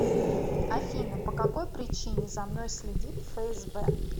афина по какой причине за мной следит фсб